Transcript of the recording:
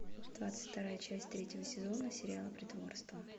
двадцать вторая часть третьего сезона сериала притворство